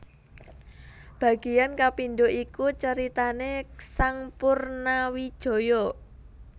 Bagian kapindho iku caritané sang Purnawijaya